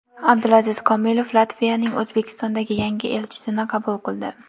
Abdulaziz Komilov Latviyaning O‘zbekistondagi yangi elchisini qabul qildi.